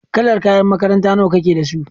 Kalar kayan makaranta nawa kake da su?